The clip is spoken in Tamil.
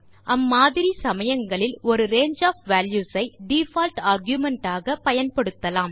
அம்மாதிரி சமயங்களில் ஒரு ரங்கே ஒஃப் வால்யூஸ் ஐ டிஃபால்ட் ஆர்குமென்ட் ஆக பயன்படுத்தலாம்